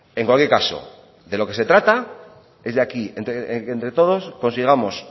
en cualquier caso de lo que se trata es de aquí entre todos consigamos